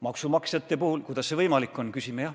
Maksumaksjate puhul me küsime, kuidas see võimalik on.